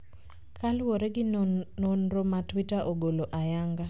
kaluwore gi nonro ma Twitter ogolo ayanga.